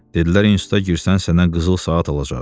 Dedilər instituta girsən sənə qızıl saat alacağıq.